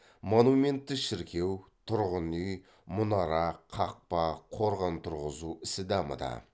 монументті шіркеу тұрғын үй мұнара қақпа қорған тұрғызу ісі дамыды